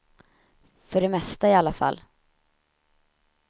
För det mesta, i alla fall.